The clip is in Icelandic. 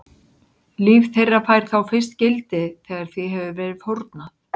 Líf þeirra fær þá fyrst gildi þegar því hefur verið fórnað.